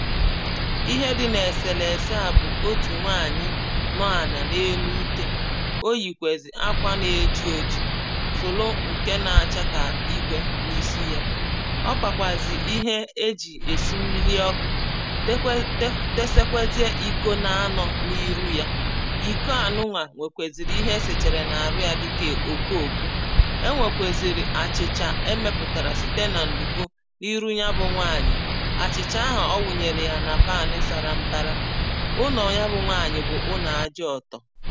ihe di n’èsèlèsè à bụ̀ otù nwaànyị̀ nọ ànà n’enu utē o yìkwèzì akwà na-eji ojī sòlo ǹke na-achakà igwē n’isi yā ọ pàkwàzì ihe ejì èsi mmili ọkụ̄ dekwe desekwezie ìko n’anọ̄ n’iru ya ìko a nuwà nwèkwèsiri ihe esèchèrè n’àru yà dikè òkokō enwèkwèsìrì àchìchà emēpụ̀tàrà site nà ǹdùko n’iru ya bụ̀ nwaànyị̀ àchìchà ahụ̀ ọ nwùnyèrè ya nà pàni sàrà mbàrà ụlọ̀ ya bụ nwaànyị̀ bụ̀ ụnọ̀ ajọ ọ̀tọ̀